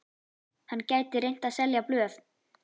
Hann gæti reynt að selja blöð.